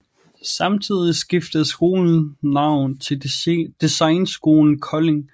Samtidig skiftede skolen navn til Designskolen Kolding